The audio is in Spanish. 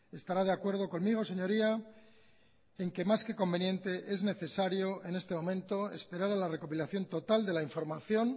estará de acuerdo conmigo señoría en que más que conveniente es necesario en este momento esperar a la recopilación total de la información